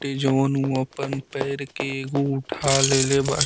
इ जोन ऊ अप्न पैर के एगो ऊठा ले बा।